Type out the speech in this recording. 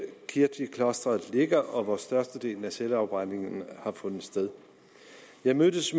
kirtiklosteret ligger og hvor størstedelen af selvafbrændingerne har fundet sted jeg mødtes